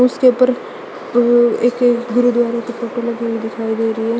उसके ऊपर गु एक गुरुद्वारा की फोटो लगी हुई दिखाई दे रही है।